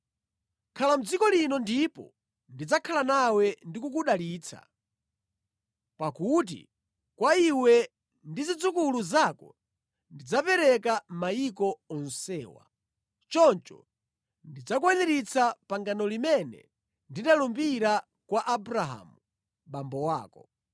Khala mʼdziko lino ndipo ndidzakhala nawe ndi kukudalitsa. Pakuti kwa iwe ndi zidzukulu zako ndidzapereka mayiko onsewa. Choncho ndidzakwaniritsa pangano limene ndinalumbira kwa Abrahamu, abambo ako.